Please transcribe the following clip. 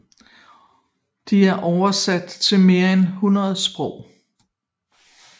De er oversat til mere end 100 sprog